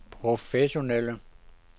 professionelle